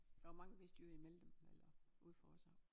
Der var mange vestjyder imellem dem eller ude fra os af